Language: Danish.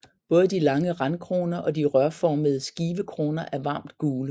Både de lange randkroner og de rørformede skivekroner er varmt gule